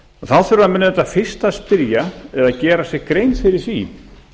þá þurfa menn auðvitað fyrst að spyrja eða gera sér grein fyrir því